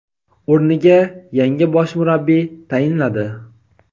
o‘rniga yangi bosh murabbiy tayinladi;.